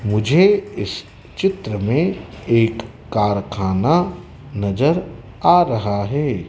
मुझे इस चित्र में एक कारखाना नजर आ रहा है।